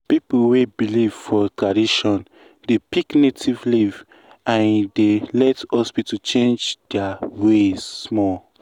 people wey believe for tradition dey pick native leaf and e dey let hospital change their ways small.